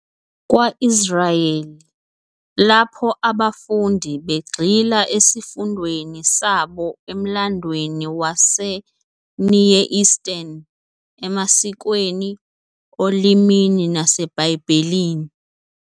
kwa-Israyeli, lapho abafundi begxila esifundweni sabo emlandweni wase-Near Eastern, emasikweni, olimini naseBhayibhelini.